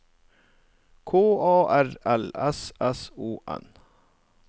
K A R L S S O N